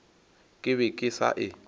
ke be ke sa e